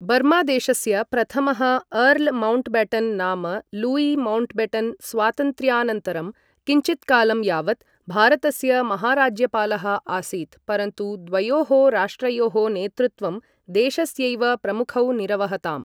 बर्मादेशस्य प्रथमः Earl Mountbatten नाम Louis Mountbatten स्वातन्त्र्यानन्तरं किञ्चित्कालं यावत् भारतस्य महाराज्यपालः आसीत्, परन्तु द्वयोः राष्ट्रयोः नेतृत्वं देशस्यैव प्रमुखौ निरवहताम्।